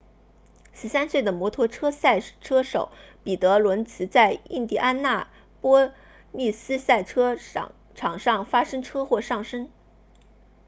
13岁的摩托车赛车手彼得伦茨在印第安纳波利斯赛车场上发生车祸丧生